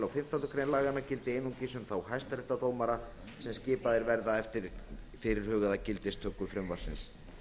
á fimmtándu grein laganna gildi einungis um þá hæstaréttardómara sem skipaðir verða eftir fyrirhugaða gildistöku frumvarpsins